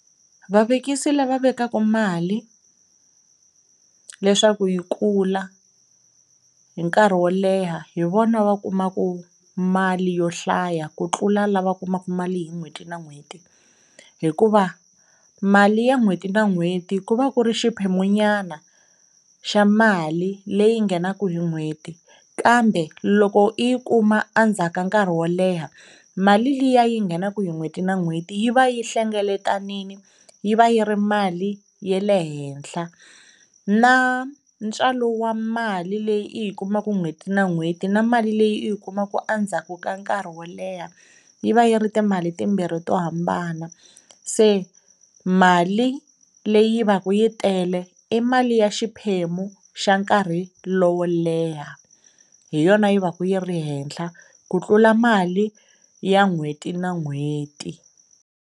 Vavekisi lava vekaka mali leswaku yi kula hi nkarhi wo leha hi vona va kumaka mali yo hlaya ku tlula lava kumaka mali hi n'hweti na n'hweti hikuva mali ya n'hweti na n'hweti ku va ku ri xiphemunyana xa mali leyi nghenaka hi n'hweti kambe loko u yi kuma endzhaku ka nkarhi wo leha mali liya yi nghenaka hi n'hweti na n'hweti yi va yi hlengeletanile, yi va yi ri mali ya le henhla. Na ntswalo wa mali leyi i yi kumaka n'hweti na n'hweti na mali leyi i yi kumaka endzhaku ka nkarhi wo leha yi va yi ri timali timbirhi to hambana. Se mali leyi va ka yi tele i mali ya xiphemu xa nkarhi lowo leha, hi yona yi va ka yi ri henhla ku tlula mali ya n'hweti na n'hweti.